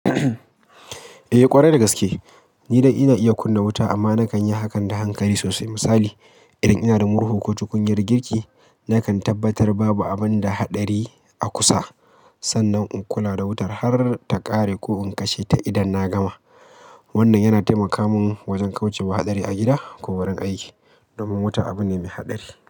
Eh ƙwarai da gaske. Ni dai ina iya kunna wuta amma na kan yi hakan da hankali sosai. Misali idan ina da murhu ko cikin girki, na kan tabbatar babu abin da haɗari a kusa sannan in kula da wutar har ta ƙare ko in kashe ta idan na gama. Wannan yana taimaka mun wajen kauce wa haɗari a gida ko wurin aiki, domin wuta abu ne mai haɗari.